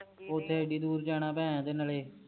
ਓਥੇ ਏਡੀ ਦੂਰ ਜਾਣਾ ਨਾਲੇ